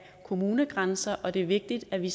kommunegrænser og det er vigtigt at vi